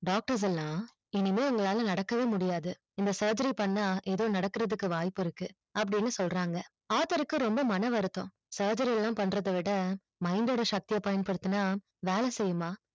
doctors எல்லாம் இனிமை உங்களால நடக்கவே முடியாது இந்த surgery பண்ண ஏதோ நடக்கறத்து வாய்ப்பு இருக்கு அப்டினு சொல்றாங்க author க்கு ரொம்ப மன வருத்தம் surgery எல்லாம் பண்றதவிட சக்தி பயன்படுத்துனா வேல செய்யுமா